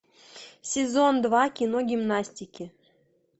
сезон два кино гимнастики